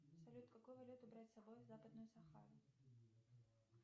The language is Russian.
салют какую валюту брать с собой в западную сахару